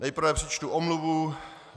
Nejprve přečtu omluvu.